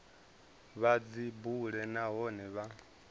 vha dzi bule nahone vha